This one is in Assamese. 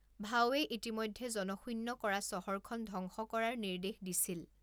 ভাউৱে ইতিমধ্যে জনশূন্য কৰা চহৰখন ধ্বংস কৰাৰ নিৰ্দেশ দিছিল।